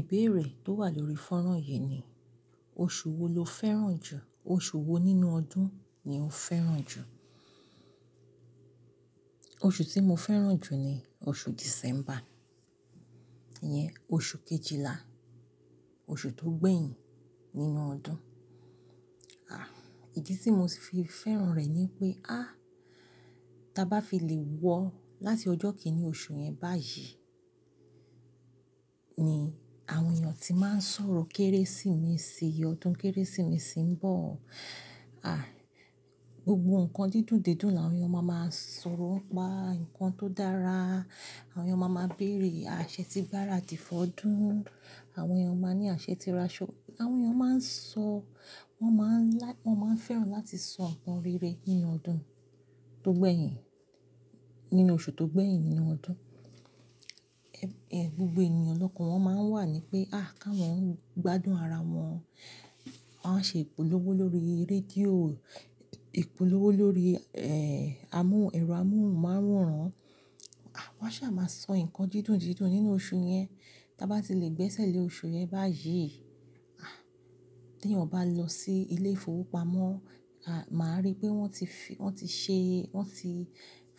Ìbéèrè tó wà lórí fọ́nrán yìí ni, oṣù wo lo fẹ́ràn jù? Oṣù wo nínú ọdún ni o fẹ́ràn jù? Oṣù tí mo fẹ́ràn jù ni oṣù December. Ìyẹn oṣù kejìlá, oṣù tó gbẹ̀yìn nínú ọdún. À, ìdí tí mo sì fi fẹ́ràn rẹ̀ ni pé, á, tí a bá fi lè wọ láti ọjọ́ kìn-ínní oṣù yẹn báyìí ni àwọn èèyàn ti máa ń sọ̀rọ̀ Kérésìmesì, ọdún Kérésìmesì ń bọ̀. À, gbogbo nǹkan dídùn dé dùn làwọn èèyàn máa máa sọ̀rọ̀ pá, ǹkan tó dára, àwọn èèyàn máa máa béèrè, à ṣẹ tí gbáràdì f'ọdún, àwọn èèyàn máa ní à ṣẹ tíra ṣọ́, àwọn èèyàn máa ń sọ-- wọ́n máa ń like-- wọ́n máa ń fẹ́ràn láti sọ nǹkan rere nínú ọdún tó gbẹ̀yìn, nínú oṣù tó gbẹ̀yìn nínú ọdún. Ẹ̀, gbogbo ènìyàn lọ́kàn wọ́n máa ń wà ní pé, à káwọn ń gbádùn ara wọn, wọ́n á ṣe ìpolówó lórí rédíò, ìpolówó lórí, ẹ́, amóhùn, ẹ̀rọ amóhùnmáworań. À, wọ́n ṣà máa sọ nǹkan dídùn dídùn nínú oṣù yẹn. Ta bá ti lè gbẹ́sẹ̀ lé oṣù yẹn báyìí, à, t'èèyàn bá lọ sí ilé ìfowópamọ́, à, màá rí pé wọ́n ti fi, wọ́n ti ṣe, wọ́n ti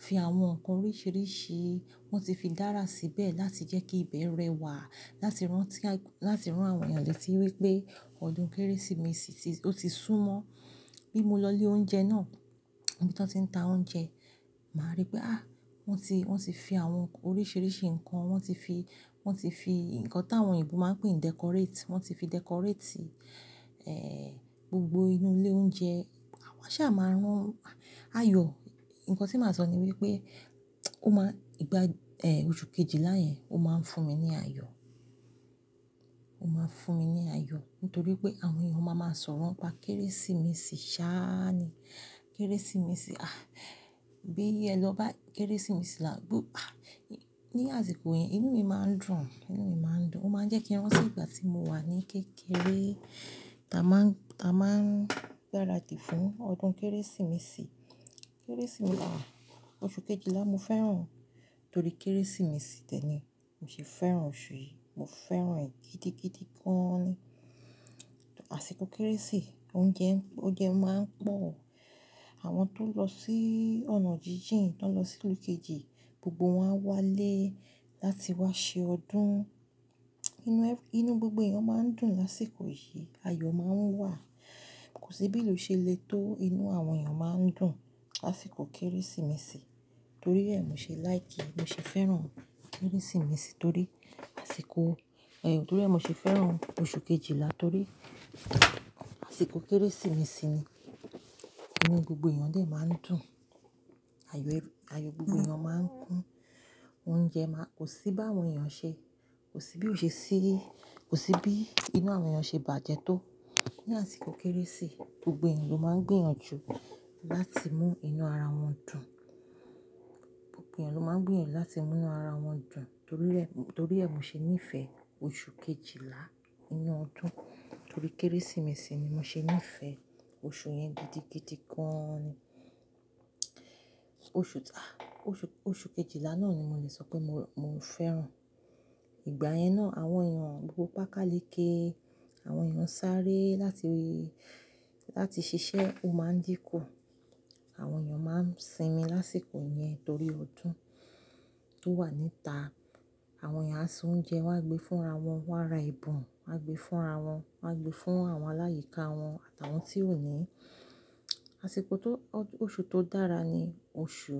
fi àwọn nǹkan oríṣìíríṣìí, wọ́n ti fi dára síbẹ̀ láti jẹ́ kí ìbẹ̀ rẹ̀wà, láti rántí a-- láti rán àwọn èèyàn létí wípé ọdún Kérésìmesì ti, ó ti súmọ́. Bí mo lọ ilé oúnjẹ náà, níbi tí wọ́n ti ń ta oúnjẹ, màá rí pé, à, wọ́n ti, wọ́n ti fi àwọn oríṣìíríṣìí nǹkan, wọ́n ti fi, wọ́n ti fi nǹkan táwọn oyinbo máa ń pè ní decorate, wọ́n ti fi decorate, ẹ́, gbogbo inú ilé oúnjẹ. À, wọ́n ṣà máa rán ayọ̀. Ǹkan tí màá sọ ni wípé ó máa ìgbà, ẹ́, oṣù kejìlá yẹn ó máa ń fún mi ní ayọ̀. Ó máa ń fún mi ní ayọ̀ nítorí pé àwọn èèyàn máa máa sọ̀rọ̀ n'pá Kérésìmesì ṣá ni. Kérésìmesì, à, bí ẹ lọ bái Kérésìmesì là, gbó, à, ní àsìkò yẹn inú mi máa ń dùn. Inú mi máa ń dùn. Ó máa ń jẹ́ kí a ranti ìgbà tí mo wà ní kékeré táa máa ń, táa máa ń gbáràdì fún ọdún Kérésìmesì. Kérésìmesì là, oṣù kejìlá mo fẹ́ràn torí Kérésìmesì tẹ́ni. Mo sì fẹ́ràn oṣù yìí, mo fẹ́ràn ẹ̀ gidigidi gan-an ni. Àsìkò Kérésì oúnjẹ, oúnjẹ máa ń pọ̀. Àwọn tó lọ sí ọ̀nà jíjìn, tán lọ sílù kejì gbogbo wọ́n á wálé láti wá ṣe ọdún. Inú ẹ-- inú gbogbo èèyàn máa ń dùn lásìkò yìí, ayọ̀ máa ń wà. Kò sí bí'lú se le tó inú àwọn èèyàn máa ń dùn lásìkò Kérésìmesì torí ẹ́, mo ṣe láì kí. Mo sì fẹ́ràn Kérésìmesì torí àsìkò, ẹ̀yọ̀ torí mo sì fẹ́ràn oṣù kejìlá torí àsìkò Kérésìmesì ni inú gbogbo èèyàn dè máa ń dùn. Ayo ẹ-- ayọ̀ gbogbo èèyàn máa ń kún. Oúnjẹ máa-- kò sí bá àwọn èèyàn ṣe, kò sí bí ó ṣe sí, kò sí bí inú àwọn èèyàn ṣe bàjẹ́ tó ní àsìkò Kérésì. Gbogbo èèyàn ló máa ń gbìyànjú láti mú inú ara wọn dùn. Gbogbo èèyàn ló máa ń gbìyànjú láti mú'nú ara wọn dùn torí ẹ́, torí ẹ́, mo ṣe níìfẹ̀ oṣù kejìlá inú ọdún torí Kérésìmesì ni mo ṣe níìfẹ̀ oṣù yẹn gidigidi gan-an ni. Oṣù, à, oṣù, oṣù kejìlá náà ni mo lè sọ pé mo, mo fẹ́ràn. Ìgbà yẹn náà àwọn èèyàn gbogbo pákálekẹ́, àwọn èèyàn sáré láti, láti ṣiṣẹ́ o máa ń dínkù. Àwọn èèyàn máa ń sinmi lásìkò yẹn torí ọdún tó wà níta. Àwọn èèyàn á se oúnjẹ wọ́n á gbé fúnra wọn, wọ́n á ra ẹ̀bùn wọ́n á gbé fúnra wọn, wọ́n á gbé fún àwọn aláyìká wọn àtàwọn tí ò ní. Àsìkò tó, ọ-- oṣù tó dára ni oṣù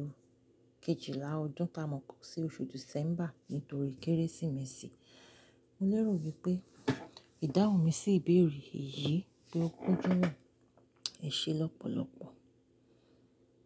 kejìlá ọdún tá a mọ̀ sí oṣù December nítorí Kérésìmesì. Mo lérò wípé ìdáhùn mi sí ìbéèrè yìí pé ó kúnjú mọ́ ẹ̀ ṣe lọ́pọ̀lọ́pọ̀.